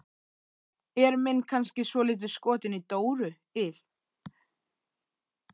Er minn kannski svolítið skotinn í Dóru il?